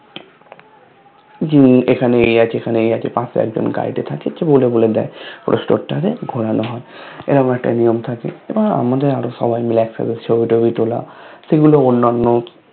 যে এখানে এ আছে এখানে এ আছে পাশে একজন Guide এ থাকে যে বলে বলে দেয় পুরো Store টাতে ঘুরানো হয় এরকম একটা নিয়ম থাকে আমাদের আরো সবাই মিলে একসাথে ছবি টবি তুলা সেগুলো অন্যান্য